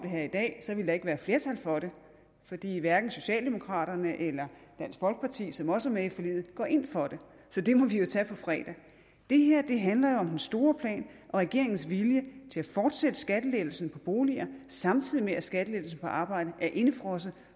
her i dag ville der ikke være flertal for det fordi hverken socialdemokraterne eller dansk folkeparti som også er med i forliget går ind for det så det må vi jo tage på fredag det her handler om den store plan og regeringens vilje til at fortsætte skattelettelsen på boliger samtidig med at skattelettelsen på arbejde er indefrosset